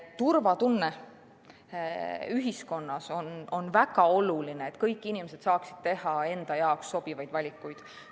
Turvatunne ühiskonnas on väga oluline, et kõik inimesed saaksid teha enda jaoks sobivaid valikuid.